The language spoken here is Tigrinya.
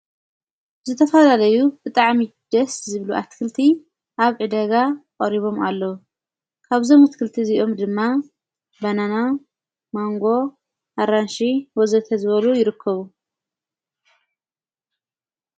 ዝተፋለዩ ብጥዓ ሚጀስ ዝብሉ ኣትክልቲ ኣብ እደጋ ኦሪቦም ኣለዉ ካብዘም ሙትክልቲ እዚኦም ድማ በናና ማንጎ ኣራንሽ ወዘተ ዝበሉ ይርከቡ።